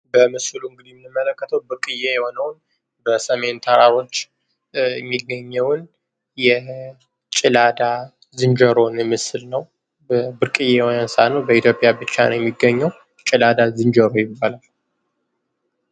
በምስሉ እንግዲ የምንመለከተው ብርቅየ የሆነውን በሰሜን ተራሮች የሚገኘውን የጭላዳ ዝንጀሮ ምስል ነው። ብርቅዬ እንስሳ ነው በኢትዮጵያ ብቻ ነው የሚገኘው ጭላዳ ዝንጀሮ ይባላል።